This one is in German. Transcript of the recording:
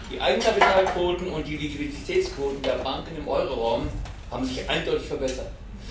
Die Eigenkapitalquoten und die Liquiditätsquoten der Banken im Euro Raum haben sich eindeutig verbessert.